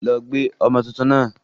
Lọ gbé ọmọ tuntun náà!